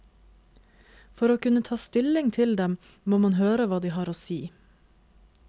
For å kunne ta stilling til dem, må man høre hva de har å si.